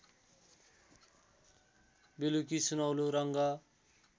बेलुकी सुनौलो रङ्ग